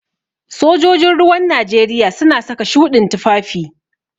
Sojojin ruwan Najeriya suna saka shuɗin tufafi.